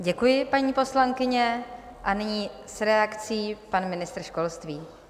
Děkuji, paní poslankyně, a nyní s reakcí pan ministr školství.